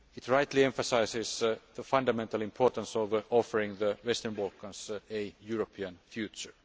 It rightly emphasises the fundamental importance of offering the Western Balkans a European future.